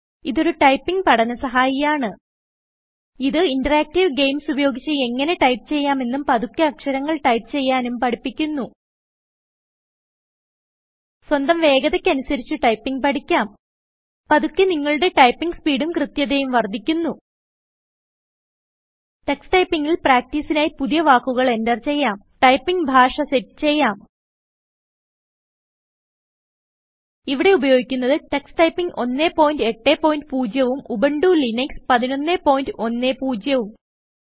ഇതൊരു ടൈപ്പിംഗ് പഠന സഹായിയാണ് ഇത് ഇന്ററാക്ടീവ് ഗെയിംസ് ഉപയോഗിച്ച് എങ്ങനെ ടൈപ്പ് ചെയ്യാമെന്നും പതുക്കെ അക്ഷരങ്ങൾ ടൈപ്പ് ചെയ്യാനും പഠിപ്പിക്കുന്നു സ്വന്തം വേഗതയ്ക്ക് അനുസരിച്ച് ടൈപ്പിംഗ് പഠിക്കാം പതുക്കെ നിങ്ങളുടെ ടൈപ്പിംഗ് സ്പീഡും കൃത്യതയും വർദ്ധിക്കുന്നു Tuxtypingൽ പ്രാക്ടീസിനായി പുതിയ വാക്കുകൾ എന്റർ ചെയ്യാം ടൈപ്പിംഗ് ഭാഷ സെറ്റ് ചെയ്യാം ഇവിടെ ഉപയോഗിക്കുന്നത് ടക്സ് ടൈപ്പിംഗ് 180 ഉം ഉബുന്റു ലിനക്സ് 1110ഉം